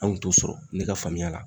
Anw t'o sɔrɔ ne ka faamuya la